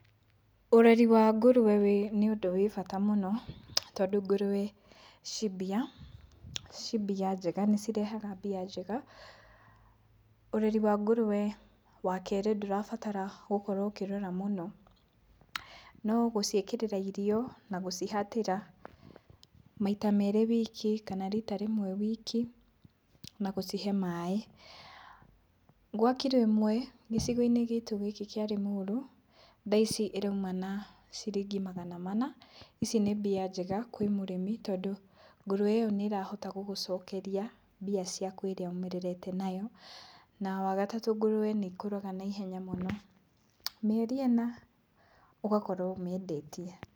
Ũreri wa ngũrũwe wĩ, nĩ ũndũ wĩ bata mũno, tondũ ngũrũwe ciĩ mbia. Ciĩ mbia njega, nĩcirehaga mbia njega. Ũreri wa ngũrũwe, wakerĩ, ndũrabatara gũkorwo ũkĩrora mũno, no gũciĩkĩrĩra irio na gũcihatĩra maita merĩ wiki kana rita rĩmwe wiki, na gũcihe maĩ. Gwa kilo ĩmwe gĩcigo-inĩ gitũ gĩkĩ kĩa Lĩmuru, thaa ici ĩrauma na ciringi magana mana. Ici nĩ mbia njega kwĩ mũrĩmi, tondũ ngũrũwe ĩyo nĩĩrahota gũgũcokeria mbia ciaku ĩrĩa ũmĩrerete nayo. Na wagatatũ ngũrũwe nĩikũraga naihenya mũno, mĩeri ĩna ũgakorwo ũmĩendetie.